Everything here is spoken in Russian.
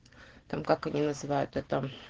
там как они называют это